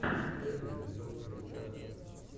первый эпизод ресторатор